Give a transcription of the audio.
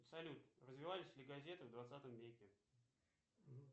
салют развивались ли газеты в двадцатом веке